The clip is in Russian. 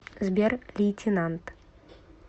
сбер лейтенант